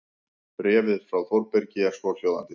Bréfið frá Þórbergi er svohljóðandi